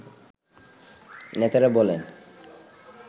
নেতারা বলেন